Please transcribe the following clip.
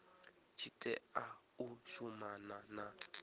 tshi tea u shumana na